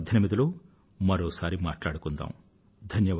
2018 లో మరోసారి మాట్లాడుకుందాం